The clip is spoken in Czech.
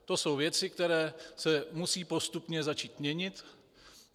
To jsou věci, které se musí postupně začít měnit.